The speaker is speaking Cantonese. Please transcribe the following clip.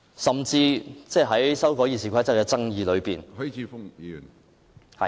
甚至在修改《議事規則》的爭議之中......